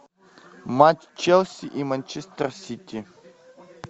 матч челси и манчестер сити